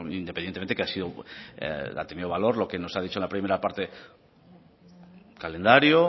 independientemente que ha tenido valor lo que nos ha dicho en la primera parte calendario